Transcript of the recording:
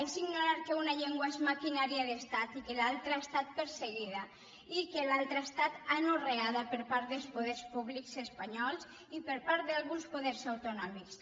és ignorar que una llengua és maquinària d’estat i que l’altra ha estat perseguida i que l’altra ha estat anorreada per part dels poders públics espanyols i per part d’alguns poders autonòmics